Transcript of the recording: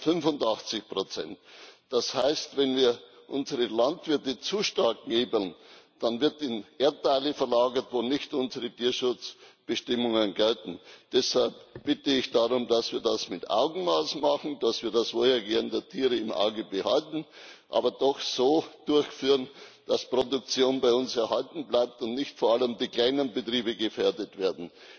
385 Das heißt, wenn wir unsere Landwirte zu stark knebeln, dann wird in Erdteile verlagert, wo nicht unsere Tierschutzbestimmungen gelten. Deshalb bitte ich darum, dass wir das mit Augenmaß machen, dass wir das Wohlergehen der Tiere im Auge behalten, aber doch so durchführen, dass Produktion bei uns erhalten bleibt und nicht vor allem die kleinen Betriebe gefährdet werden.